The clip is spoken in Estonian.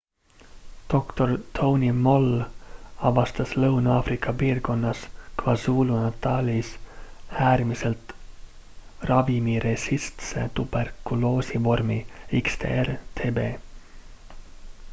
dr tony moll avastas lõuna-aafrika piirkonnas kwazulu-natalis äärmiselt ravimiresistentse tuberkuloosi vormi xdr-tb